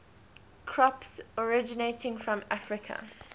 crops originating from africa